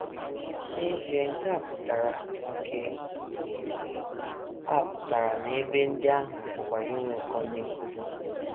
N’ezie, nke a pụtara nke a pụtara na ebe ndị ahụ pụkwara inwe ụkọ ndị nkụzi.